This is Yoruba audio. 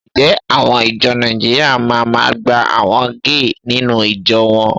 Ǹjẹ́ àwọn ìjọ Nàìjíríà ma máa gba àwọn géè nínú ìjọ wọn?